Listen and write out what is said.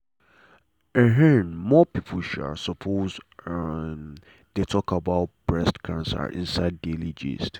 um more people um suppose um dey talk about breast cancer inside daily gist.